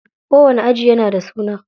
Kowani aji yana da suna.